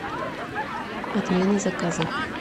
отмена заказа